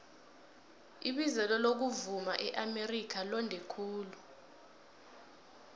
ibizelo lokuvuma eamerika londe khulu